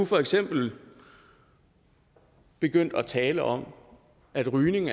for eksempel begynde at tale om at rygning